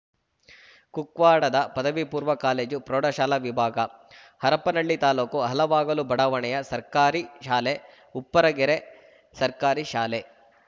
ಕುಕ್ವಾಡದ ಪದವಿ ಪೂರ್ವ ಕಾಲೇಜುಪ್ರೌಢಶಾಲಾ ವಿಭಾಗ ಹರಪ್ಪನಹಳ್ಳಿ ತಾಲೂಕು ಹಲವಾಗಲು ಬಡಾವಣೆಯ ಸರ್ಕಾರಿ ಶಾಲೆ ಉಪ್ಪರಗೆರೆ ಸರ್ಕಾರಿ ಶಾಲೆ